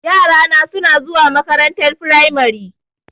Yara suna zuwa makarantar firamari.